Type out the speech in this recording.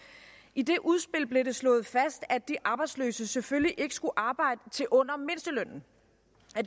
i det udspil blev det slået fast at de arbejdsløse selvfølgelig ikke skulle arbejde til under mindstelønnen